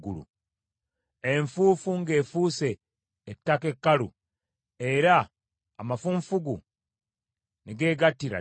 enfuufu ng’efuuse ettaka ekkalu, era amafunfugu ne geegattira ddala?